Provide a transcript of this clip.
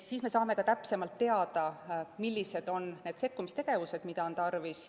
Siis me saame täpsemalt teada, millised on need sekkumistegevused, mida on tarvis.